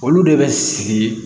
Olu de bɛ sigi